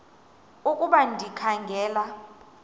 ukuba ndikha ngela